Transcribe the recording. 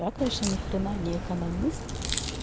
я конечно ни хрена не экономист